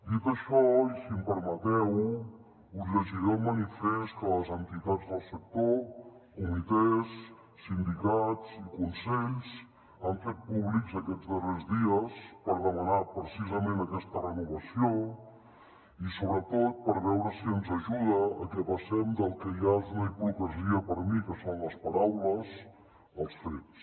dit això i si m’ho permeteu us llegiré el manifest que les entitats del sector comitès sindicats i consells han fet públics aquests darrers dies per demanar precisament aquesta renovació i sobretot per veure si ens ajuda a que passem del que ja és una hipocresia per mi que són les paraules als fets